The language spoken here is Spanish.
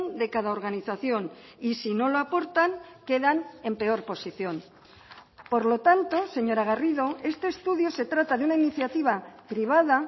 de cada organización y si no lo aportan quedan en peor posición por lo tanto señora garrido este estudio se trata de una iniciativa privada